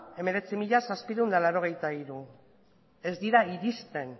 hemeretzi mila zazpiehun eta laurogeita hiru ez dira iristen